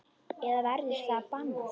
Eða verður það bannað?